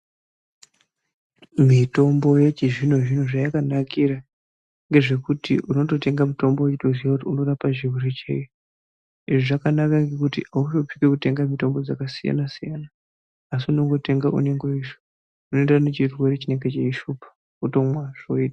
Mitombo yechizvino zvino chakayakanakira ndechekuti unototenga uchitoziya kuti unorapa chirwere chei izvi zvakanakira kut mutombo yakasiyana siyana unongotenga unoemderana nechirwere chinenge cheishupa wotomwa zvoita .